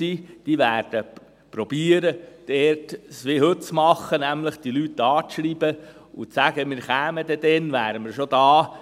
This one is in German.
Diese werden versuchen, es wie heute zu machen, nämlich die Leute anzuschreiben und zu sagen: «Wir kommen dann, wir wären schon da.